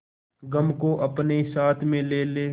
गम को अपने साथ में ले ले